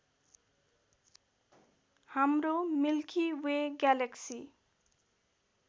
हाम्रो Milky Way galaxy